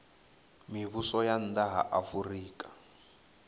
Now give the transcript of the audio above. mivhuso ya nna ha afurika